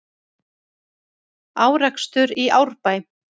Árekstur í Árbæ